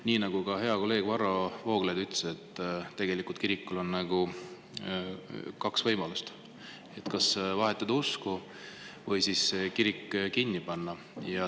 Nii nagu ka hea kolleeg Varro Vooglaid ütles, tegelikult kirikul on kaks võimalust: kas vahetada usku või siis kirik kinni panna.